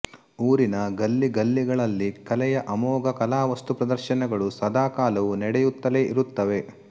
ಊರಿನ ಗಲ್ಲಿಗಲ್ಲಿಗಳಲ್ಲಿ ಕಲೆಯ ಅಮೋಘ ಕಲಾ ವಸ್ತುಪ್ರದರ್ಶನಗಳು ಸದಾಕಾಲವೂ ನಡೆಯುತ್ತಲೇ ಇರುತ್ತವೆ